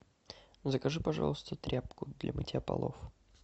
закажи пожалуйста тряпку для мытья полов